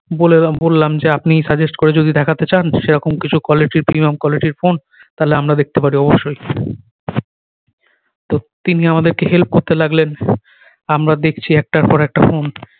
বলেলাম বললাম যে আপনি suggest করে যদি দেখাতে যান সেরকম কিছু quality premium quality র ফোন তালে আমরা দেখতে পারি অবশ্যই তো তিনি আমাদের কে help করতে লাগলেন আমরা দেখছি একটার পর একটা ফোন